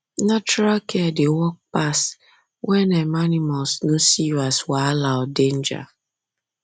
natural care dey work pass when um animals no see you as wahala or danger